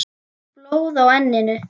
Blóð á enninu.